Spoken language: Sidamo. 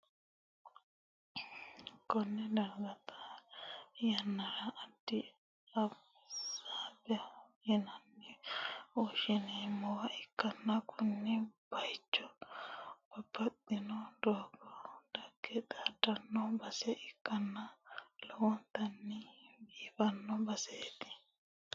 konne darga xaa yannnara addisi abebbaho yine woshshi'neemmowa ikkanna, kuni bayichi babbaxxitino doogo dagge xaaddanno base ikkanna, lowontanni biiffanno baseeti.